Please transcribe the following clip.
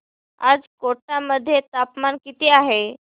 आज कोटा मध्ये तापमान किती आहे